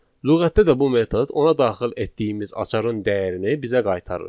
Lüğətdə də bu metod ona daxil etdiyimiz açarın dəyərini bizə qaytarır.